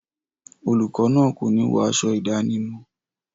Olùkọ náà kòní wọ aṣọ ìdánimọ̀.